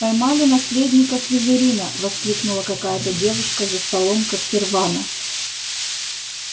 поймали наследника слизерина воскликнула какая-то девушка за столом когтервана